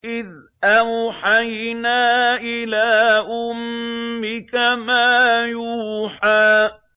إِذْ أَوْحَيْنَا إِلَىٰ أُمِّكَ مَا يُوحَىٰ